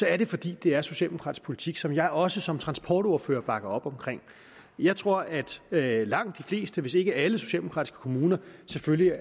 er det fordi det er socialdemokratisk politik som jeg også som transportordfører bakker op om jeg tror at at langt de fleste hvis ikke alle socialdemokratiske kommuner selvfølgelig